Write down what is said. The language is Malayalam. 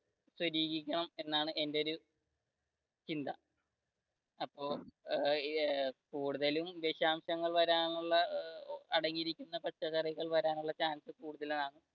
എന്നാണ് എന്റെ ഒരു ചിന്ത അപ്പൊ ഏർ കൂടുതലും വിശാംശങ്ങൾ വരാനുള്ള അടങ്ങിയിരിക്കുന്ന പച്ചക്കറികൾ കൂടുതൽ വരാനുള്ള chance കൂടുതലാണ്